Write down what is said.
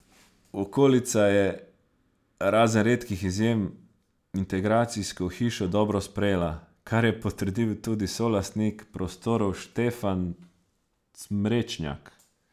Okolica je, razen redkih izjem, integracijsko hišo dobro sprejela, kar je potrdil tudi solastnik prostorov Štefan Cmrečnjak.